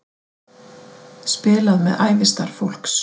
Spilað með ævistarf fólks